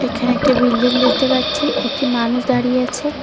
এখানে একটি বিল্ডিং দেখতে পাচ্ছি একটি মানুষ দাঁড়িয়ে আছে।